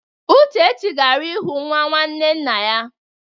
Uchechi gara ịhụ nwa nwanne nna ya.